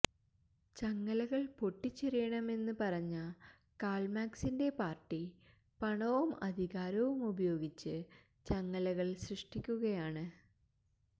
ചങ്ങലകള് പൊട്ടിച്ചെറിയണമെന്ന് പറഞ്ഞ കാള്മാക്സിന്റെ പാര്ട്ടി പണവും അധികാരവും ഉപയോഗിച്ച് ചങ്ങലകള് സൃഷ്ടിക്കുകയാണ്